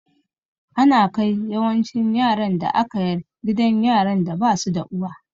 Ana kai yawancin yaran da aka yar gidan yaran da basu da uwa